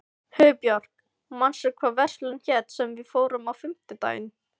Hugbjörg, manstu hvað verslunin hét sem við fórum í á fimmtudaginn?